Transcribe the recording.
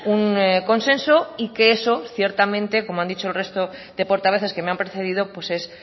un consenso y que eso ciertamente como han dicho el resto de portavoces que me han precedido pues es